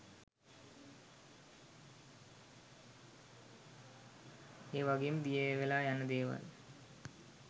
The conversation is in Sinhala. ඒ වගේම දියවෙලා යන දේවල්